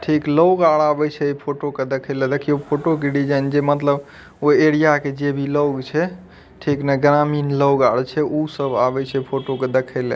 ठीक लोग आर आवई छे फोटो के देखेला देखियो फोटो के डिज़ाइन जे मतलब उ एरिया के जे भी लोग छे ठीक नहीं ग्रामीण लोग आवे छे उ सब आवई छे फोटो के देखे ला।